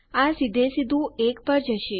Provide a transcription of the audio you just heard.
આ સીધે સીધું 1 પર જશે